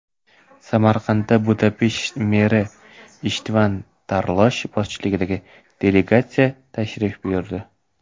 Samarqandga Budapesht meri Ishtvan Tarlosh boshchiligidagi delegatsiya tashrif buyurdi.